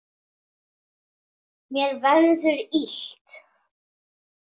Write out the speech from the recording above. Mér verður illt.